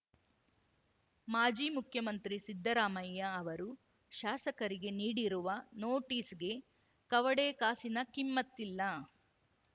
ಮಾಜಿ ಮುಖ್ಯಮಂತ್ರಿ ಸಿದ್ದರಾಮಯ್ಯ ಅವರು ಶಾಸಕರಿಗೆ ನೀಡಿರುವ ನೋಟಿಸ್‌ಗೆ ಕವಡೆ ಕಾಸಿನ ಕಿಮ್ಮತ್ತಿಲ್ಲ